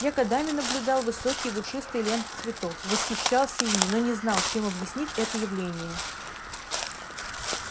я годами наблюдал высокие и душистые ленты цветов восхищался ими но не знал чем объяснить это явление